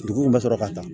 Dugu bɛ sɔrɔ ka taa